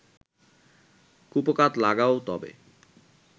কুপোকাৎ লাগাও তবে